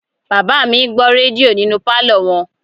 Bàbá mi ń gbọ́ rédíò nínú pálọ̀ wọn